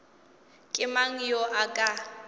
ke mang yo a ka